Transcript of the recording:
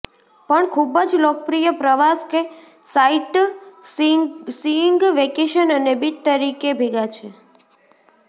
પણ ખૂબ જ લોકપ્રિય પ્રવાસ કે સાઇટસીઇંગ વેકેશન અને બીચ તરીકે ભેગા છે